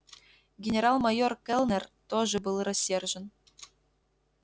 генерал-майор кэллнер тоже был рассержен